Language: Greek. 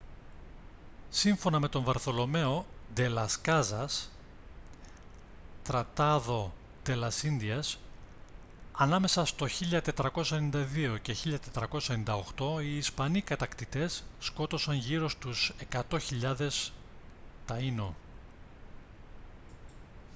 σύμφωνα με τον βαρθολομαίο ντε λας κάζας tratado de las indias ανάμεσα στο 1492 και 1498 οι ισπανοί κατακτητές σκότωσαν γύρω στους 100.000 taíno